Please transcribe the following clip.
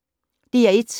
DR1